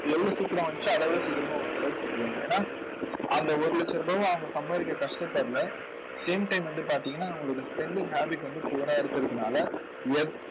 எவ்வளவு சீக்கிரம் வந்துச்சோ அதைவிட சீக்கிரமா அவங்க செலவு பண்ணிடுவாங்க. ஏன்னா அந்த ஒரு லட்ச ரூபாயை அவங்க சம்பாதிக்க கஷ்டப்படலை same time வந்து பார்த்தீங்கன்னா அவங்களுக்கு spending habit வந்து poor ஆ இருக்கறதுனால